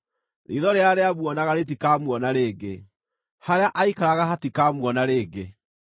Riitho rĩrĩa rĩamuonaga rĩtikamuona rĩngĩ; harĩa aaikaraga hatikamuona rĩngĩ.